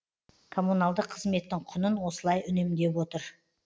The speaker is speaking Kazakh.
коммуналдық қызметтің құнын осылай үнемдеп отыр